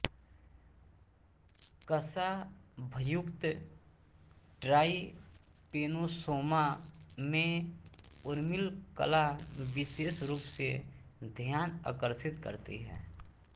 कशाभयुक्त trypanosoma में उर्मिलकला विशेष रूप से ध्यान अकर्षित करती है